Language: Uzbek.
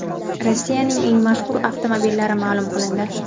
Rossiyaning eng mashhur avtomobillari ma’lum qilindi.